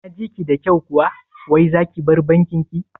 Naji ki da kyau kuwa wai zaki bar bankin ki?